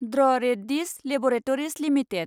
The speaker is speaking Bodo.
द्र रेड्डी'स लेबरेटरिज लिमिटेड